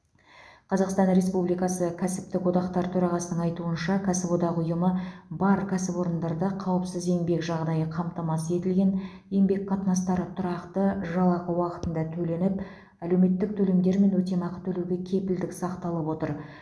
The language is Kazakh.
қазақстан республикасы кәсіптік одақтар төрағасының айтуынша кәсіподақ ұйымы бар кәсіпорындарда қауіпсіз еңбек жағдайы қамтамасыз етілген еңбек қатынастары тұрақты жалақы уақытында төленіп әлеуметтік төлемдер мен өтемақы төлеуге кепілдік сақталып отыр